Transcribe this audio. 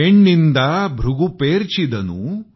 पैन्निदा भृगु पर्चीदानु